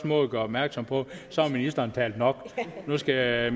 måde at gøre opmærksom på at så har ministeren talt nok og at nu skal